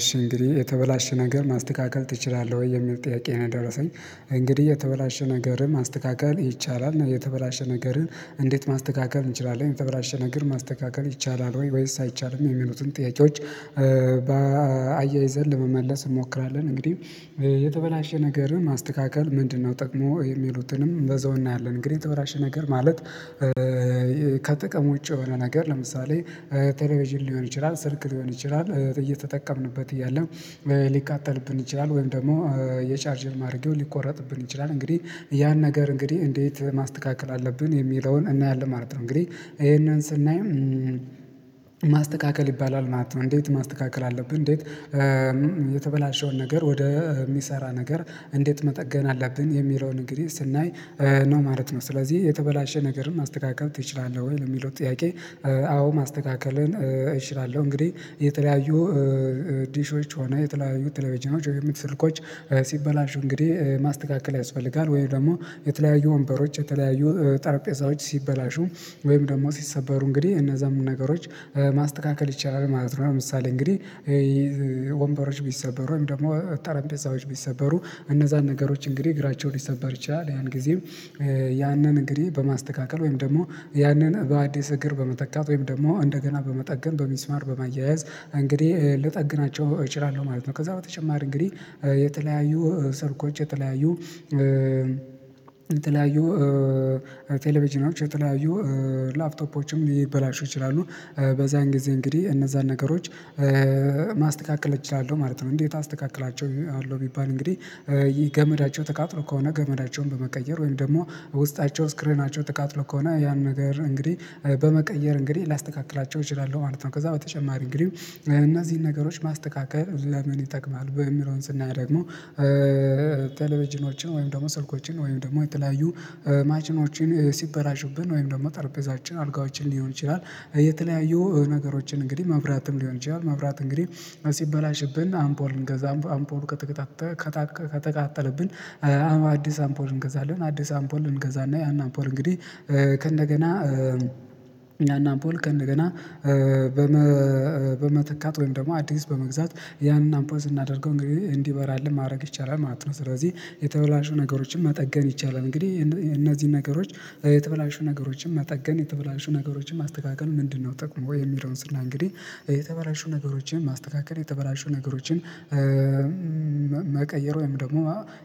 እሺ እንግዲህ የተበላሸ ነገር ማስተካከል ትችላለህ ወይ የሚል ጥያቄ ነው? የደረሰኝ እንግዲህ የተበላሸ ነገርን ማስተካከል ይቻላል እና የተበላሸ ነገርን እንዴት ማስተካከል እንችላለን የተበላሸ ነገር ማስተካከል ይቻላል ወይስ አይቻልም የሚሉትን ጥያቄዎች አያይዘን ለመመለስ እንሞክራለን። እንግዲህ የተበላሸ ነገርን ማስተካከል ምንድነው ጥቅሙ የሚሉትንም በዛው እናያለን። እንግዲህ የተበላሸ ነገር ማለት ከጥቅም ዉጪ የሆነ ነገር ለምሳሌ ቴሌቪዥን ሊሆን ይችላል ስልክ ሊሆን ይችላል እየተጠቀምንበት እያለም ሊቃጠልብን ይችላል ወይም ደግሞ የቻርጅን ማድረጌው ሊቆረጥብን ይችላል እንግዲህ ያን ነገር እንግዲህ እንዴት ማስተካከል አለብን የሚለውን እናያለን ማለት ነው። እንግዲህ ይሄንን ስናይ ማስተካከል ይባላል ማለት ነው። እንዴት ማስተካከል አለብን እንዴት የተበላሸውን ነገር ወደ የሚሰራ ነገር እንዴት መጠገን አለብን የሚለውን እንግዲህ ስናይ ነው ማለት ነው። ስለዚህ የተበላሸ ነገርን ማስተካከል ትችላለህ ወይ ለሚለው ጥያቄ አዎ ማስተካከልን እችላለሁ። እንግዲህ የተለያዩ ዲሾች ሆነ የተለያዩ ቴለቪዥኖች ወይም ስልኮች ሲበላሹ እንግዲህ ማስተካከል ያስፈልጋል ወይም ደግሞ የተለያዩ ወንበሮች የተለያዩ ጠረጴዛዎች ሲበላሹ ወይም ደግሞ ሲሰበሩ እንግዲህ እነዛን ነገሮች ማስተካከል ይቻላል ማለት ነው። ለምሳሌ እንግዲህ ወንበሮች ቢሰበሩም ወይም ደግሞ ጠረጴዛዎች ቢሰበሩ እነዛን ነገሮች እንግዲህ እግራቸውን ሊሰበር ይችላል ያን ጊዜም ያንን እንግዲህ በማስተካከል ወይም ደግሞ ያንን በአዲስ እግር በመተካት ወይም ደግሞ እንደገና በመጠገን በሚስማር በማያያዝ እንግዲህ ልጠግናቸው እችላለሁ ማለት ነው። ከዛ በተጨማር እንግዲህ የተለያዩ ስልኮች የተለያዩ የተለያዩ ቴሌቪዥኖች የተለያዩ ላፕቶፖችም ሊበላሹ ይችላሉ በዛን ጊዜ እንግዲህ እነዛን ነገሮች ማስተካከል እችላለሁ ማለት ነው። እንዴት አስተካክላቸዋለው ቢባል እንግዲህ ይህ ገመዳቸው ተቃጥሎ ከሆነ ገመዳቸውን በመቀየር ወይም ደግሞ ውስጣቸው ስክሪናቸው ተቃጥሎ ከሆነ ያን ነገር እንግዲህ በመቀየር እንግዲህ ላስተካክላቸው እችላለሁ ማለት ነው። ከዛ በተጨማሪ እንግዲህ እነዚህን ነገሮች ማስተካከል ለምን ይጠቅማል? የሚለውን ስናይ ደግሞ ቴሌቪዥኖችን ወይም ደግሞ ስልኮችን ወይም ደግሞ የተለያዩ ማሽኖችን ሲበላሽብን ወይም ደግሞ ጠርቤዛዎችን አልጋዎችን ሊሆን ይችላል የተለያዩ ነገሮችን እንግዲህ መብራትም ሊሆን ይችላል መብራት እንግዲህ ሲበላሽብን አምፖል እንገዛ አምፖል ከተቀጣጠ ከተቀጣጠ ከተቃጠለብን አዲስ አምፖል እንገዛለን አዲስ አምፖል እንገዛና ያን አምፖል እንግዲህ ከእንደገና ያና አምፖል ከእንደገና በመተካት ወይም ደግሞ አዲስ በመግዛት ያንን አምፖል ስናደርገው እንግዲህ እንዲበራልን ማድረግ ይቻላል ማለት ነው። ስለዚህ የተበላሹ ነገሮችን መጠገን ይቻላል እንግዲህ እነዚህን ነገሮች የተበላሹ ነገሮችን መጠገን የተበላሹ ነገሮችን ማስተካከል ምንድነው? ጥቅሙ የሚለውን ስናይ እንግዲህ የተበላሹ ነገሮችን ማስተካከል የተበላሹ ነገሮችን መቀየር ወይም ደግሞ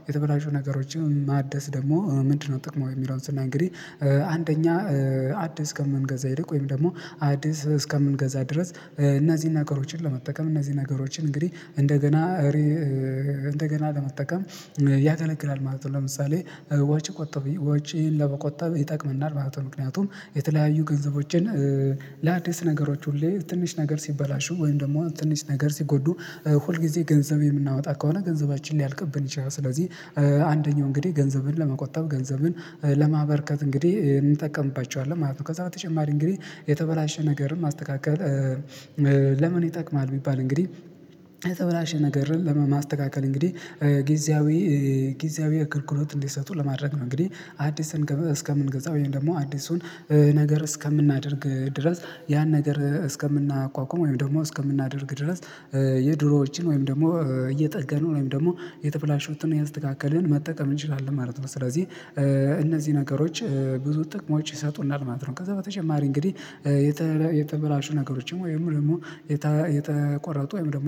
የተበላሹ ነገሮችን ማደስ ደግሞ ምንድነው ጥቅሙ? የሚለውን ስናይ እንግዲህ አንደኛ አዲስ ከምንገዛ ይልቅ ወይም ደግሞ አዲስ እስከምንገዛ ድረስ እነዚህን ነገሮችን ለመጠቀም እነዚህን ነገሮችን እንግዲህ እንደገና እንደገና ለመጠቀም ያገለግላል ማለት ነው። ለምሳሌ ወጪ ቆጠብ ወጪን ለመቆጠብ ይጠቅመናል ማለት ምክንያቱም የተለያዩ ገንዘቦችን ለአዲስ ነገሮች ሁሌ ትንሽ ነገር ሲበላሹ ወይም ደግሞ ትንሽ ነገር ሲጎዱ ሁል ጊዜ ገንዘብ የምናወጣ ከሆነ ገንዘባችን ሊያልቅብን ይችላል። ስለዚህ አንደኛው እንግዲህ ገንዘብን ለመቆጠብ ገንዘብን ለማበርከት እንግዲህ እንጠቀምባቸዋለን ማለት ነው። ከዛ በተጨማሪ እንግዲህ የተበላሸ ነገርን ማስተካከል ለምን ይጠቅማል ቢባል እንግዲህ የተበላሸ ነገርን ለማስተካከል እንግዲህ ጊዜያዊ ጊዜያዊ አገልግሎት እንዲሰጡ ለማድረግ ነው እንግዲህ አዲስን እስከምንገዛ ወይም ደግሞ አዲሱን ነገር እስከምናደርግ ድረስ ያን ነገር እስከምናቋቁም ወይም ደግሞ እስከምናደርግ ድረስ የድሮዎችን ወይም ደግሞ እየጠገነው ወይም ደግሞ የተበላሹትን እያስተካከልን መጠቀም እንችላለን ማለት ነው። ስለዚህ እነዚህ ነገሮች ብዙ ጥቅሞች ይሰጡናል ማለት ነው። ከዛ በተጨማሪ እንግዲህ ነገሮችም ወይም ደግሞ የተቆረጡ ወይም ደግሞ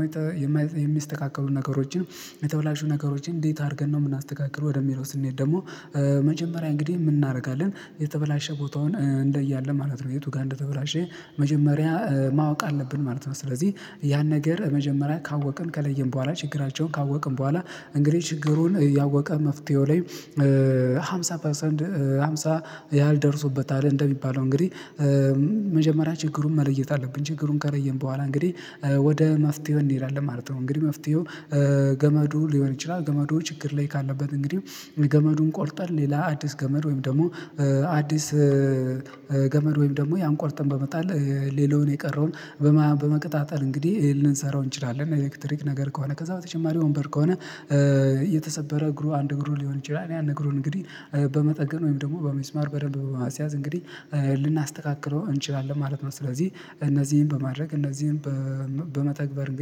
የሚስተካከሉ ነገሮችን የተበላሹ ነገሮችን እንዴት አድርገን ነው የምናስተካክለው ወደሚለው ስንሄድ ደግሞ መጀመሪያ እንግዲህ ምን እናደርጋለን የተበላሸ ቦታውን እንለያለን ማለት ነው። የቱ ጋር እንደተበላሸ መጀመሪያ ማወቅ አለብን ማለት ነው። ስለዚህ ያን ነገር መጀመሪያ ካወቅን ከለየን በኋላ ችግራቸውን ካወቅን በኋላ እንግዲህ ችግሩን ያወቀ መፍትሄው ላይ አምሳ ፐርሰንት አምሳ ያህል ደርሶበታል እንደሚባለው እንግዲህ መጀመሪያ ችግሩን መለየት አለብን ችግሩን ከለየን በኋላ እንግዲህ ወደ መፍትሄው እንሄዳለን ማለት ነው። እንግዲህ መፍትሄው ገመዱ ሊሆን ይችላል ገመዱ ችግር ላይ ካለበት እንግዲህ ገመዱን ቆርጠን ሌላ አዲስ ገመድ ወይም ደግሞ አዲስ ገመድ ወይም ደግሞ ያን ቆርጠን በመጣል ሌላውን የቀረውን በመቀጣጠል እንግዲህ ልንሰራው እንችላለን ኤሌክትሪክ ነገር ከሆነ ከዛ በተጨማሪ ወንበር ከሆነ የተሰበረ እግሩ አንድ እግሩ ሊሆን ይችላል ያን እግሩን እንግዲህ በመጠገን ወይም ደግሞ በሚስማር በደንብ ማስያዝ እንግዲህ ልናስተካክለው እንችላለን ማለት ነው። ስለዚህ እነዚህን በማድረግ እነዚህን በመተግበር